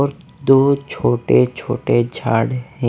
और दो छोटे छोटे झाड़ हें।